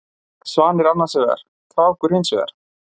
Svanir annarsvegar, krákur hinsvegar.